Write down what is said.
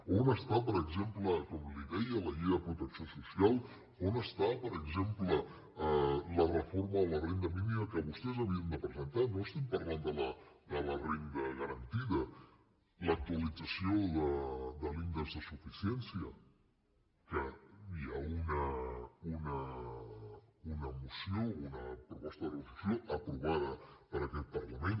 on està per exemple com li deia la llei de protecció social on està per exemple la reforma de la renda mínima que vostès havien de presentar no estem parlant de la renda garantida l’actualització de l’índex de suficiència que hi ha una moció una proposta de resolució aprovada per aquest parlament